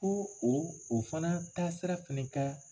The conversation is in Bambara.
o o fana taasira fɛnɛ ka